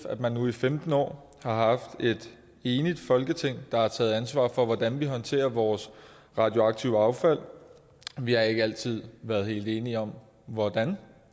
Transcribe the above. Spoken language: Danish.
at man nu i femten år har haft et enigt folketing der har taget ansvar for hvordan vi håndterer vores radioaktive affald vi har ikke altid været helt enige om hvordan